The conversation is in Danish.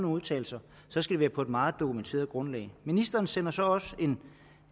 udtalelser så skal være på et meget dokumenteret grundlag ministeren sender så også en